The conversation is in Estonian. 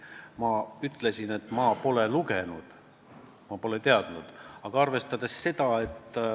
Ma ütlesin, et ma pole Märt Sultsi seisukohti lugenud, ma pole kursis.